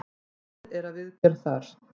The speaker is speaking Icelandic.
Unnið er að viðgerð þar.